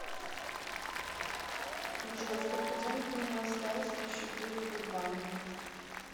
джой сколько денег у меня осталось на счету сбербанк